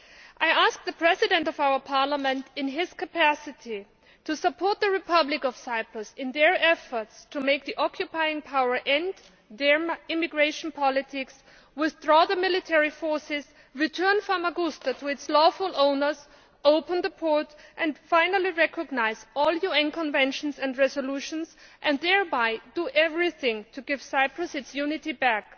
I asked the President of our Parliament, in his capacity as President, to support the Republic of Cyprus in its efforts to make the occupying power end its immigration policy, withdraw the military forces, return Famagusta to its lawful owners, open the port and finally recognise all UN conventions and resolutions and thereby do everything to give Cyprus its unity back.